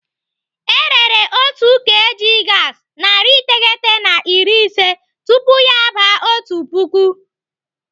Erere otu kg gaasi narị iteghete na iri ise tupu ya aba otu puku.